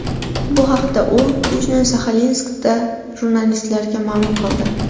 Bu haqda u Yujno-Saxalinskda jurnalistlarga ma’lum qildi.